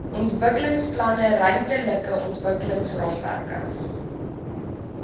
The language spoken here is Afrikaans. ontwikkelingsplanne ruimtelike ontwikkelingsraamwerke